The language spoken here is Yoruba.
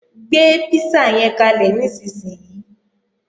Gbé písà yẹn kalẹ̀ nísinsìnyí!